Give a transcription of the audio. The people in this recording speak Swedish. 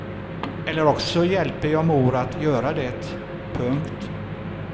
Eller också hjälper jag mor att göra det. punkt